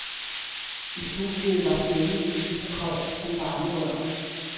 I studiet var stemningen lige så kold som varmerørene.